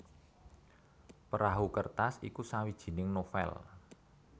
Perahu Kertas iku sawijining novèl